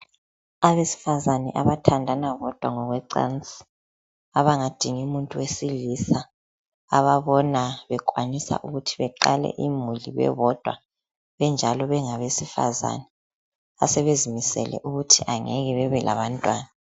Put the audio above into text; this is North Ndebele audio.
Abesifazane abathandana bodwa ngokwecansi abangadingi muntu owesilisa ababona bekwanisa ukuthi beqale imhuli bebodwa benjalo bengabesifazane asebezimisele ukuthi angeke bebe labantwana.